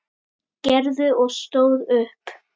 Gerður og stóð upp.